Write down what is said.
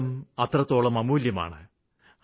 ജീവിതം അത്രത്തോളം അമൂല്യമാണ്